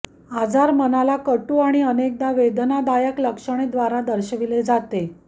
आजार मानला कटू आणि अनेकदा वेदनादायक लक्षणे द्वारे दर्शविले जाते